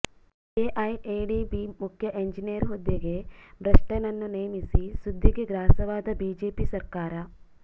KIADB ಮುಖ್ಯ engineer ಹುದ್ದೆಗೆ ಭ್ರಷ್ಟನನ್ನು ನೇಮಿಸಿ ಸುದ್ದಿಗೆ ಗ್ರಾಸವಾದ ಬಿಜೆಪಿ ಸರ್ಕಾರ